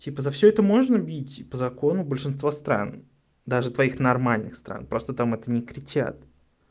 типа за всё это можно бить по закону большинства стран даже твоих нормальных стран просто там это не кричат